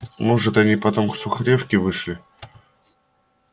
может они потом к сухаревке вышли